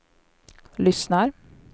lyssnar